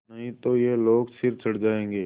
नहीं तो ये लोग सिर चढ़ जाऐंगे